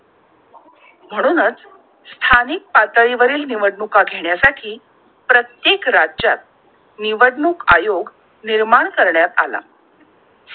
म्हणूनच स्थानिक पातळी वरील निवडणूका घेण्या साठी प्रत्येक राज्यात निवडणूक आयोग निर्माण करण्यात आला!